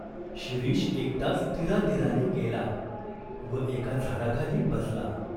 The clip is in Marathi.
शिरीष एकटाच तीरातीराने गेला व एका झाडाखाली बसला.